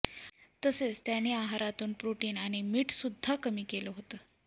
तसेच त्यानं आहारातून प्रोटीन आणि मीठ सुद्धा कमी केलं होतं